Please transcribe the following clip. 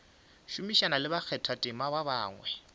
šomišana le bakgathatema ba bangwe